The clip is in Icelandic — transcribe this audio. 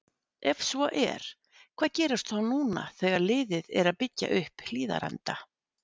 Ef svo er, hvað gerist þá núna þegar liðið er að byggja upp Hlíðarenda?!